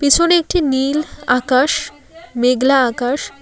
পিছনে একটি নীল আকাশ মেঘলা আকাশ--